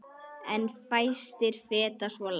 En fæstir feta svo langt.